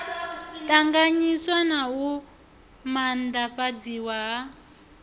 ṱanganyiswa na u maanḓafhadziswa ha